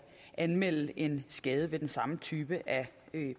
anmelde en skade ved den samme type